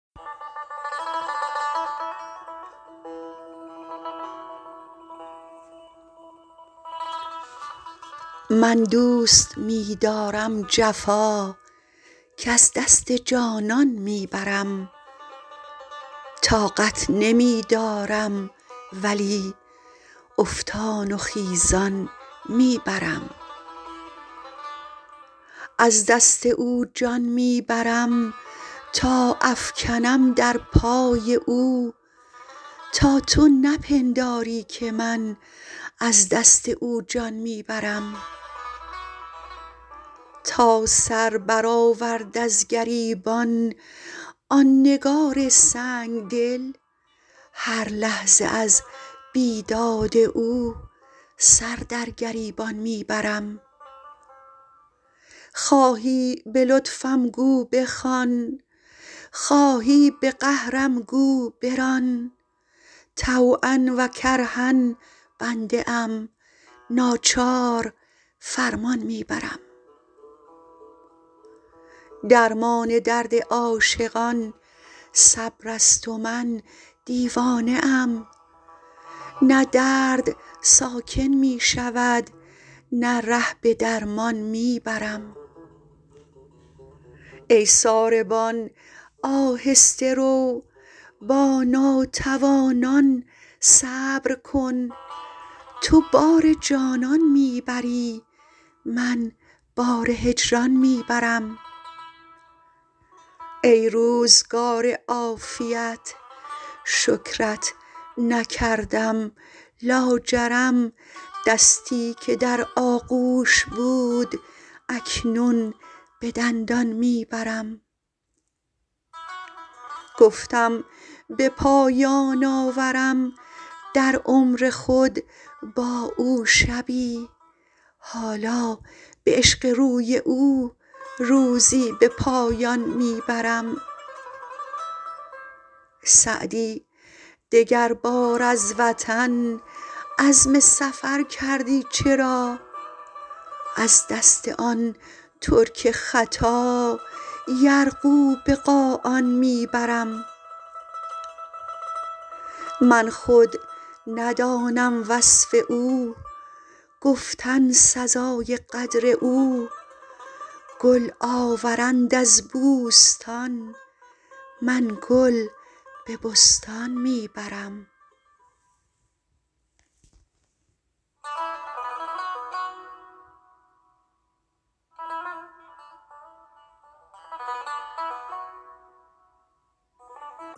من دوست می دارم جفا کز دست جانان می برم طاقت نمی دارم ولی افتان و خیزان می برم از دست او جان می برم تا افکنم در پای او تا تو نپنداری که من از دست او جان می برم تا سر برآورد از گریبان آن نگار سنگ دل هر لحظه از بیداد او سر در گریبان می برم خواهی به لطفم گو بخوان خواهی به قهرم گو بران طوعا و کرها بنده ام ناچار فرمان می برم درمان درد عاشقان صبر است و من دیوانه ام نه درد ساکن می شود نه ره به درمان می برم ای ساربان آهسته رو با ناتوانان صبر کن تو بار جانان می بری من بار هجران می برم ای روزگار عافیت شکرت نکردم لاجرم دستی که در آغوش بود اکنون به دندان می برم گفتم به پایان آورم در عمر خود با او شبی حالا به عشق روی او روزی به پایان می برم سعدی دگربار از وطن عزم سفر کردی چرا از دست آن ترک خطا یرغو به قاآن می برم من خود ندانم وصف او گفتن سزای قدر او گل آورند از بوستان من گل به بستان می برم